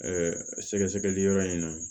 sɛgɛsɛgɛli yɔrɔ in na